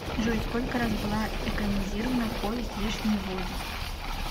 джой сколько раз была экранизирована повесть вешние воды